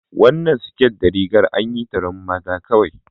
Wannan siket da rigar anyi ta don mata kawai